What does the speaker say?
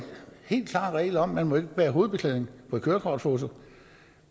helt klar regel om at man bære hovedbeklædning på et kørekortfoto